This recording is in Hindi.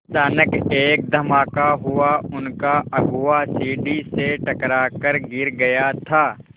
अचानक एक धमाका हुआ उनका अगुआ सीढ़ी से टकरा कर गिर गया था